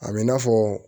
A bɛ i n'a fɔ